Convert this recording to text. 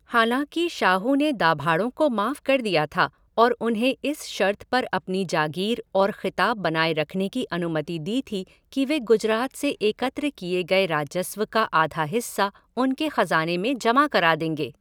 हालाँकि, शाहू ने दाभाड़ों को माफ़ कर दिया था और उन्हें इस शर्त पर अपनी जागीर और खिताब बनाए रखने की अनुमति दी थी कि वे गुजरात से एकत्र किए गए राजस्व का आधा हिस्सा उनके ख़ज़ाने में जमा करा देंगे।